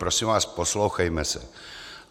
Prosím vás, poslouchejme se.